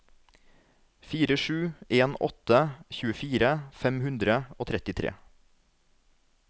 fire sju en åtte tjuefire fem hundre og trettitre